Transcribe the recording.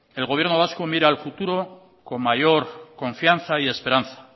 el gobierno vasco mira al futuro con mayor confianza y esperanza